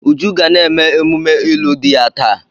Uju ga na-eme emume ịlụ di ya taa.